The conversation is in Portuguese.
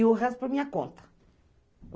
E o resto foi minha conta.